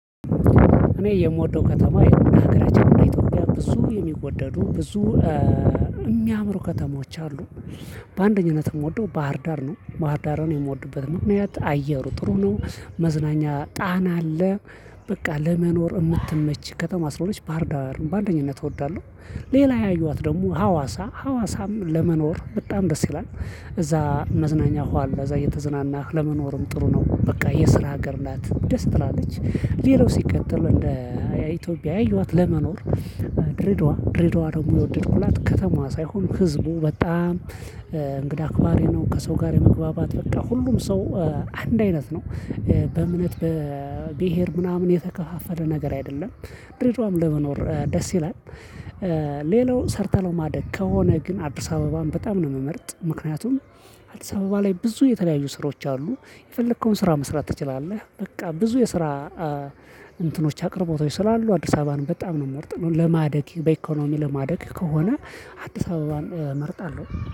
እኔ የምወደው ከተማ የሆነ ሀገር ኢትዮጵያ ብዙ የሚወደዱ ብዙ የሚያምሩ ከተማዎች አሉ። በአንደኝነት የምወደው ባህር ዳር ነው ባህር ዳርን የምወድበት ምክንያት አየሩ ጥሩ ነው። መዝናኛ ጣና አለ። በቃ ለመኖር የምትመች ከተማ አስራ ሁለት ባህር በአንደኝነት እወዳለሁ። ሌላ ያየኋት ደግሞ ሀዋሳ ሀዋሳም ለመኖር በጣም ደስ ይላል። እዛ መዝናኛ ወሃ እዛ እየተዝናናህ ለመኖርም ጥሩ ነው በቃ የስራ ሀገር ናት ደስ ትላለች። ሌላው ሲቀጥል እንደ ኢትዮጵያ አዩዋት ለመኖር ድሬዳዋ ድሬዳዋ ደግሞ የወደድኩላት ከተማዋ ሳይሆን ህዝቡ በጣም እንግዳ አክባሪ ነው። ከሰው ጋር የመግባባት በቃ ሁሉም ሰው አንድ አይነት ነው። በእምነት በብሄር ምናምን የተከፋፈለ ነገር አይደለም። ድሬድዋም ለመኖር ደስ ይላል። ሌላው ሰርተለው ማደግ ከሆነ ግን አዲስ አበባም በጣም ነው የምመርጥ ምክንያቱም አዲስ አበባ ላይ ብዙ የተለያየ ስራዎች አሉ የፈለከውን ስራ መስራት ትችላለህ። በቃ ብዙ የስራ እንትኖች አቅርቦት ስላሉ አዲስ አበባን በጣም ነው የምርጥነው። ለማደግ በኢኮኖሚ ለማደግ ከሆነ አዲስ አበባን እመርጣለሁ